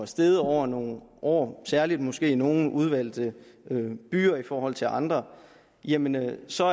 steget over nogle år særlig måske i nogle udvalgte byer i forhold til andre jamen så